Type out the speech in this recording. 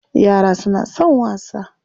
Yara suna son wasa.